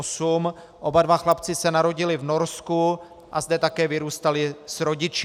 Oba dva chlapci se narodili v Norsku a zde také vyrůstali s rodiči.